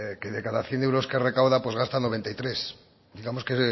que de cada cien euros que recauda pues gasta noventa y tres digamos que